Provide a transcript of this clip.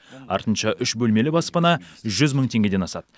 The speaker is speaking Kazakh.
артынша үш бөлмелі баспана жүз мың теңгеден асады